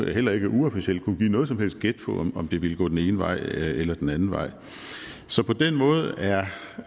heller ikke uofficielt kunne give noget som helst gæt på om det ville gå den ene vej eller den anden vej så på den måde er